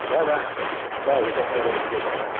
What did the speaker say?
да-да да я так наверное и сделаю